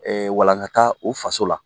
walankataa u faso la